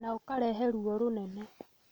na ũkarehe ruo rũnene,